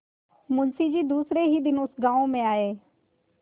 मुँशी जी दूसरे ही दिन उस गॉँव में आये